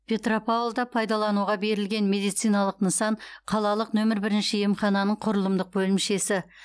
петропавлда пайдалануға берілген медициналық нысан қалалық нөмірі бірінші емхананың құрылымдық бөлімшесі